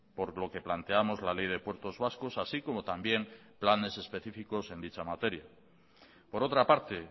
por lo que planteamos la ley de puertos vascos así como también planes específicos en dicha materia por otra parte